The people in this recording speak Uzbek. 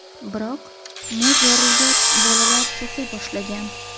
Biroq muz yorilgach, bolalar cho‘ka boshlagan.